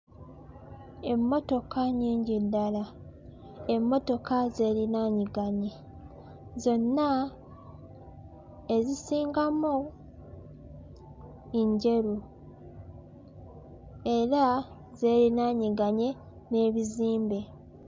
Emmotoka nnyingi ddala. Emmotoka zeerinaanyiganye. Zonna, ezisingamu njeru era zeerinaanyiganye n'ebizimbe.